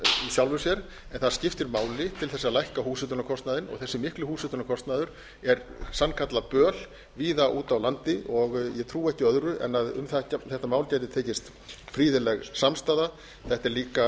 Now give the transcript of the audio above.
sjálfu sér en það skiptir máli til þess að lækka húshitunarkostnaðinn og þessi mikli húshitunarkostnaður er sannkallað böl víða úti á landi og ég trúi ekki öðru en að um þetta mál geti tekist gríðarleg samstaða þetta er líka